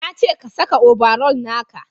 na ce ka saka obaral naka!